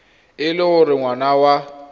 e le gore ngwana wa